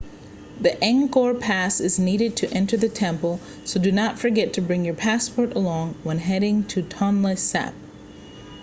the angkor pass is needed to enter the temple so do not forget to bring your passport along when heading to tonle sap